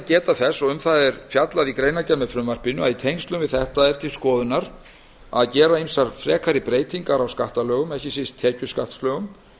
geta þess og um það er fjallað í greinargerð með frumvarpinu að í tengslum við þetta er til skoðunar að gera ýmsar frekari breytingar á skattalögum ekki síst tekjuskattslögum